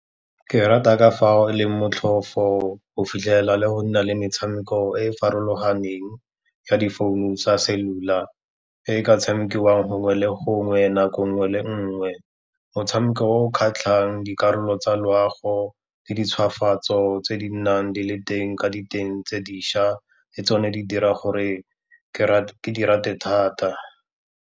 Ke rata ka fa e leng motlhofo go fitlhela le go nna le metshameko e e farologaneng ya difounu tsa cellular, e ka tshamekiwang gongwe le gongwe, nako nngwe le nngwe. Motshameko o o kgatlhang dikarolo tsa loago le di ntshwafatso tse di nnang di le teng ka diteng tse dišwa, le tsone di dira gore ke di rate thata.